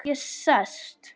Ég sest.